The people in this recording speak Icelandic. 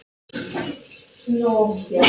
Samúð skín úr augum hennar.